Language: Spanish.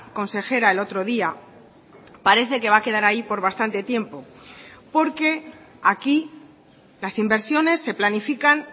consejera el otro día parece que va a quedar ahí por bastante tiempo porque aquí las inversiones se planifican